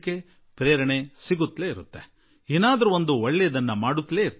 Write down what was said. ನಾವು ಏನನ್ನಾದರೂ ಪಡೆದುಕೊಳ್ಳುತ್ತಿರುತ್ತೇವೆ ಕಲಿಯುತ್ತಿರುತ್ತೇವೆ ಹಾಗೂ ಒಂದಲ್ಲಾ ಒಂದು ಒಳಿತನ್ನು ಮಾಡುತ್ತಿರುತ್ತೇವೆ